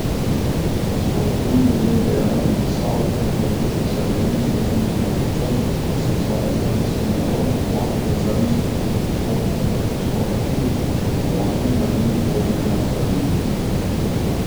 Sporazum glede dela med stavko na področju carine med drugim določa, da se izvaja carinski nadzor nad blagom v carinskih postopkih ter postopki uvoznega in izvoznega carinjenja.